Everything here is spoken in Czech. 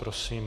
Prosím.